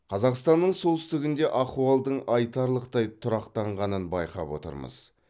қазақстанның солтүстігінде ахуалдың айтарлықтай тұрақтанғанын байқап отырмыз